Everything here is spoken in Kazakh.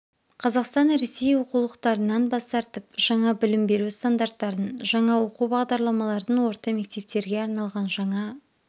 қазақстан ресей оқулықтарынан бас тартып жаңа білім беру стандарттарын жаңа оқу бағдарламаларын орта мектептерге арналған жаңа